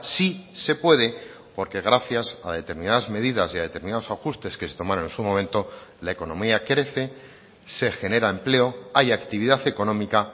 sí se puede porque gracias a determinadas medidas y a determinados ajustes que se tomaron en su momento la economía crece se genera empleo hay actividad económica